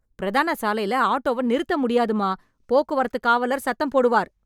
பிரதான சாலைல ஆட்டோவ நிறுத்த முடியாதுமா... போக்குவரத்து காவலர் சத்தம் போடுவார்.